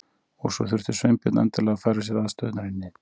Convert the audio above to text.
Og svo þurfti Sveinbjörn endilega að færa sér aðstæðurnar í nyt.